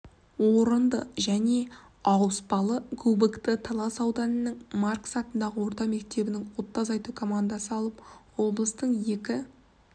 орынды және ауыспалы кубокты талас ауданының маркс атындағы орта мектебінің отты азайту командасы алып облыстың екі